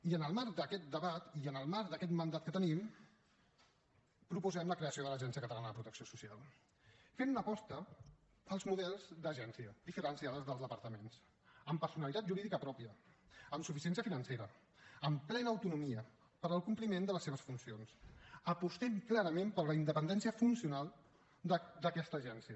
i en el marc d’aquest debat i en el marc d’aquest mandat que tenim proposem la creació de l’agència catalana de protecció social fent una aposta pels models d’agència diferenciada dels departaments amb personalitat jurídica pròpia amb suficiència financera amb plena autonomia per al compliment de les seves funcions apostem clarament per la independència funcional d’aquesta agència